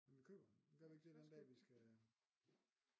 Vi køber dem men gør vi ikke det den dag vi skal